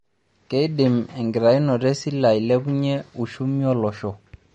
Keidim enkitainoto esile ailepunye ushumi olosho?